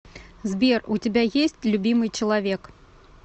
сбер у тебя есть любимый человек